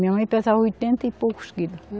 Minha mãe pesava oitenta e poucos quilo.